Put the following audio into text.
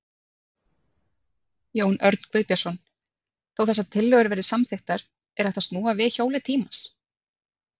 Jón Örn Guðbjartsson: Þó þessar tillögur verði samþykktar, er hægt að snúa við hjóli tímans?